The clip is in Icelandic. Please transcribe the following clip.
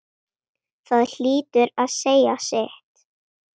Það hlýtur að segja sitt.